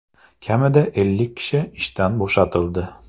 Kamida ellik kishi ishdan bo‘shatildi.